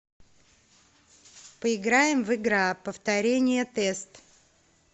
поиграем в игра повторение тест